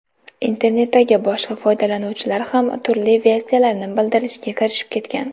Internetdagi boshqa foydalanuvchilar ham turli versiyalarni bildirishga kirishib ketgan.